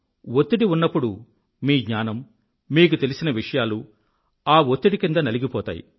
వత్తిడి ఉన్నప్పుడు మీ జ్ఞానం మీకు తెలిసిన విషయాలు ఆ ఒత్తిడి క్రింద నలిగిపోతాయి